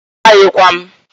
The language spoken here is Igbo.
A maghikwam.